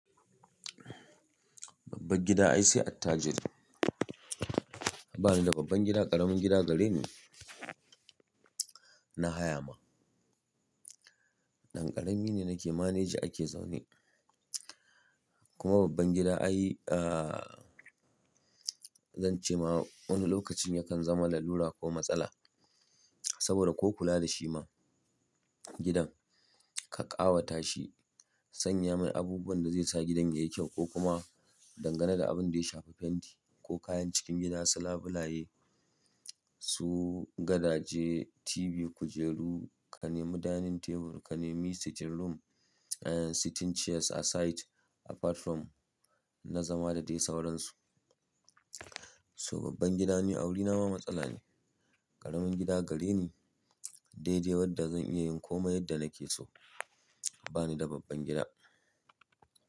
Babban gida ai sai attajiri. Ba ni da babban gida, ƙaramin gida gare ni na haya ma. Ɗan ƙarami ne nake manage ake zaune. Kuma babban gida ai, zan ce ma wani lokacin yakan zama lalura ko matsala. Saboda ko kula da shi ma gidan ka ƙawata shi sanya mai abubuwan da zai sa gidan yayi kyau ko kuma dangana da abin da ya shafi fenti ko kayan cikin gida su labilaye, su gadaje, TV, kujeru, ka nemi dining table, ka nemi sitting room, sitting chairs aside apart from na zama da dai sauransu. So babban gida ni awuri na ma matsala ne. Ƙaramin gida gare ni dai dai, wanda zan iya yin komai yadda nake so. Ba ni da babban gida.